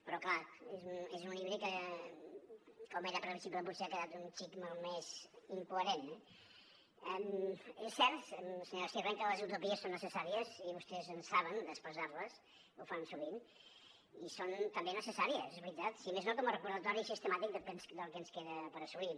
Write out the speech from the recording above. però clar és un híbrid que com era previsible potser ha quedat un xic malmès i incoherent eh és cert senyora sirvent que les utopies són necessàries i vostès en saben d’expressar les ho fan sovint i són també necessàries és veritat si més no com a recordatori sistemàtic del que ens queda per assolir